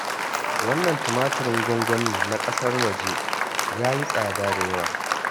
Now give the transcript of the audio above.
Wannan tumatirin gwangwanin na ƙasar waje, ya yi tsada da yawa